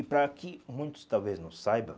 E para que muitos talvez não saiba,